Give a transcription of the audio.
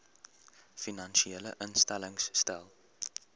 finansiële instellings stel